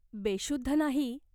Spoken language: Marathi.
बेशुद्ध नाही.